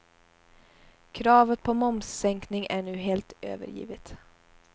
Kravet på momssänkning är nu helt övergivet.